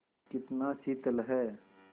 कितना शीतल है